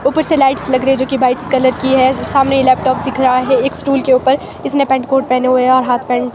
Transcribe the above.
ऊपर से लाइट्स लग रही है जो की व्हाट्स कलर की है सामने ये लैपटॉप दिख रहा है एक स्टूल के ऊपर इसने पैंट कोट पहने हुए हैं और हाफ पैंट --